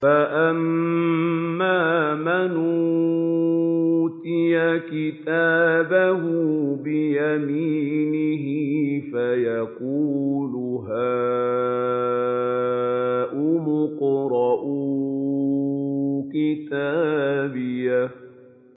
فَأَمَّا مَنْ أُوتِيَ كِتَابَهُ بِيَمِينِهِ فَيَقُولُ هَاؤُمُ اقْرَءُوا كِتَابِيَهْ